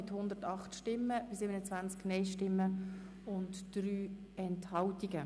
Sie haben den Antrag Regierungsrat und SiKMehrheit mit 95 Ja zu 42 Nein bei 1 Enthaltung angenommen.